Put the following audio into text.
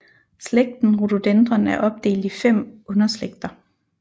Slægten Rododendron er opdelt i fem underslægter